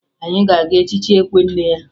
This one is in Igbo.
Anyị ga-aga echichi ekwe nne ya